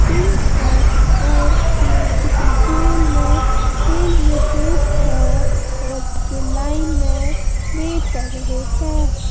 Pink है और ये किसी गोल में खेल रहे हैं और ये लाइन में वेट कर रहे हैं।